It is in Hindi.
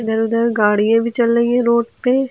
इधर उधर गाड़ियां भी चल रही है रोड पे।